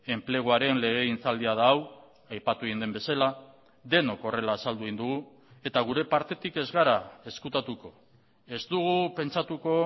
enpleguaren legegintzaldia da hau aipatu egin den bezala denok horrela azaldu egin dugu eta gure partetik ez gara ezkutatuko ez dugu pentsatuko